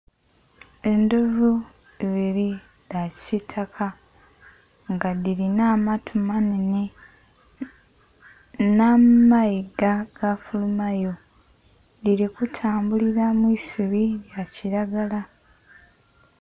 Endhovu ibiri dha kisitaka nga dhilina amatu manenhe nha maiga gafulumayo dhili kutambulila mwisubi lya kilagala.